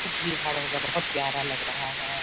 खुब भीड़-भाड़ होगा बहुत प्यारा लग रहा हैं ।